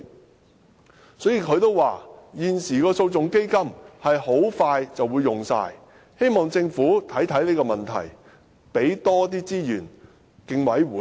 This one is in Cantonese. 胡紅玉主席表示，現時的訴訟基金很快便會用完，希望政府能檢視這個問題，多撥資源予競委會。